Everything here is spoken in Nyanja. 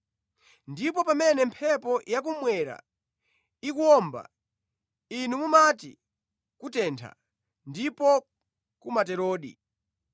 Ndipo pamene mphepo yakummwera ikuwomba, inu mumati ‘kutentha’ ndipo kumaterodi.